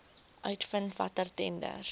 uitvind watter tenders